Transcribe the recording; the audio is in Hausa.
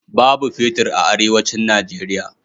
Babu fetir a Arewacin Nijeriya.